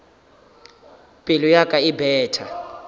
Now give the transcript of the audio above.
pelo ya ka e betha